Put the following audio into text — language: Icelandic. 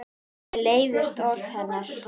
Mér leiðast orð hennar.